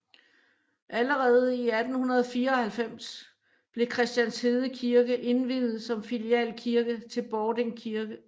Allerede i 1894 blev Christianshede Kirke indviet som filialkirke til Bording Kirke